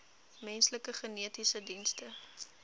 menslike genetiese dienste